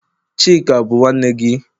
Chika bu nwanne gi?